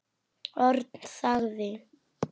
Örn þagði.